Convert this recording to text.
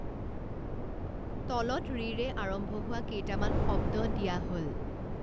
তলত ঋৰে আৰম্ভ হোৱা কেইটামান শব্দ দিয়া হ'ল